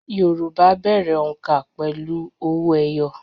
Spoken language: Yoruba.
Yorùbá bẹ̀rẹ̀ òǹkà pẹ̀lú owó ẹyọ